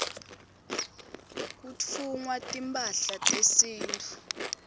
kutfungwa timphahla tesintfu